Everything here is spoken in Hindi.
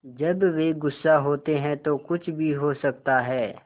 जब वे गुस्सा होते हैं तो कुछ भी हो सकता है